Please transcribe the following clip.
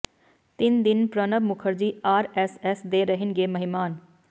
ਤਿੰਨ ਦਿਨ ਪ੍ਰਣਬ ਮੁਖਰਜੀ ਆਰ ਐਸ ਐਸ ਦੇ ਰਹਿਣਗੇ ਮਹਿਮਾਨ